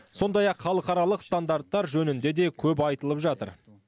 сондай ақ халықаралық стандарттар жөнінде де көп айтылып жатыр